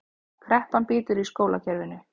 Kreppan bítur í skólakerfinu